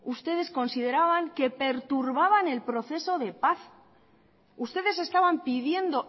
ustedes consideraban que perturbaban el proceso de paz ustedes estaban pidiendo